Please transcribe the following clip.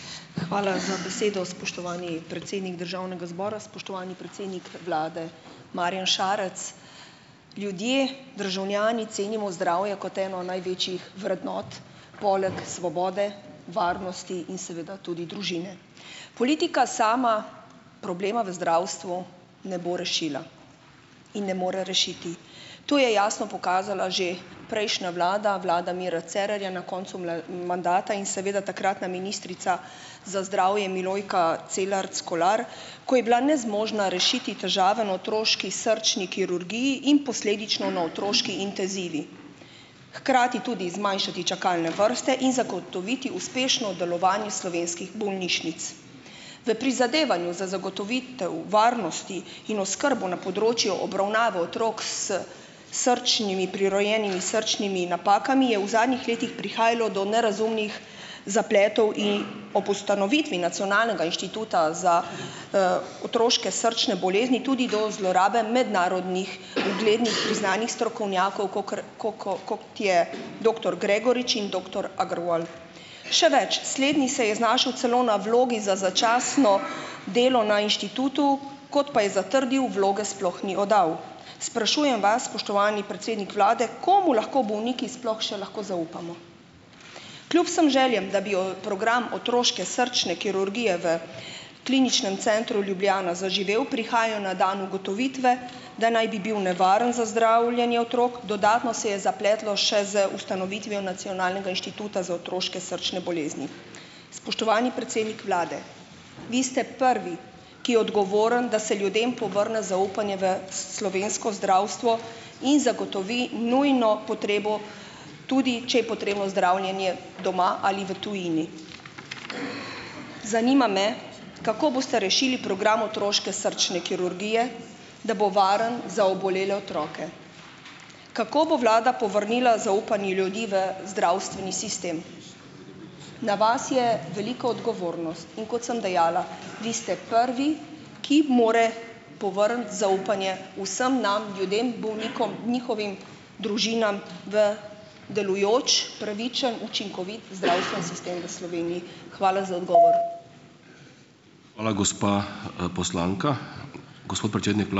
Hvala za besedo, spoštovani predsednik državnega zbora. Spoštovani predsednik vlade, Marjan Šarec! Ljudje, državljani cenimo zdravje kot eno največjih vrednot poleg svobode, varnosti in seveda tudi družine. Politika sama problema v zdravstvu ne bo rešila in ne more rešiti. To je jasno pokazala že prejšnja vlada, vlada Mira Cerarja, na koncu mandata in seveda takratna ministrica za zdravje Milojka Celarc Kolar, ko je bila nezmožna rešiti težave na otroški srčni kirurgiji in posledično na otroški intezivi. Hkrati tudi zmanjšati čakalne vrste in zagotoviti uspešno delovanje slovenskih bolnišnic. V prizadevanju za zagotovitev varnosti in oskrbo na področju obravnave otrok s srčnimi prirojenimi srčnimi napakami je v zadnjih letih prihajalo do nerazumnih zapletov in. Ob ustanovitvi nacionalnega inštituta za, otroške srčne bolezni tudi do zlorabe mednarodnih uglednih priznanih strokovnjakov, kakor, ko ko kot je doktor Gregorič in doktor Agruol. Še več, slednji se je znašel celo na vlogi za začasno delo na inštitutu, kot pa je zatrdil, vloge sploh ni oddal. Sprašujem vas, spoštovani predsednik vlade, komu lahko bolniki sploh še lahko zaupamo. Kljub vsem željam, da bi program otroške srčne kirurgije v Kliničnem centru Ljubljana zaživel, prihajajo na dan ugotovitve, da naj bi bil nevaren za zdravljenje otrok. Dodatno se je zapletlo še z ustanovitvijo Nacionalnega inštituta za otroške srčne bolezni. Spoštovani predsednik vlade, vi ste prvi, ki je odgovoren, da se ljudem povrne zaupanje v s slovensko zdravstvo in zagotovi nujno potrebo, tudi če je potrebno zdravljenje doma ali v tujini. Zanima me, kako boste rešili program otroške srčne kirurgije, da bo varen za obolele otroke? Kako bo vlada povrnila zaupanje ljudi v zdravstveni sistem? Na vas je velika odgovornost, in kot sem dejala, vi ste prvi, ki more povrniti zaupanje vsem nam ljudem, bolnikom, njihovim družinam v delujoč, pravičen, učinkovit zdravstveni sistem v Sloveniji. Hvala za odgovor.